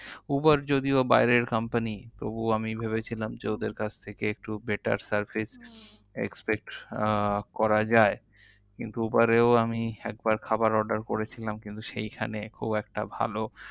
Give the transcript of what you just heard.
Uber যদিও বাইরের company তবুও আমি ভেবেছিলাম যে ওদের কাছ থেকে একটু better service হম expect আহ করা যায়। কিন্তু Uber এও আমি একবার খাবার order করেছিলাম কিন্তু সেইখানে খুব একটা ভালো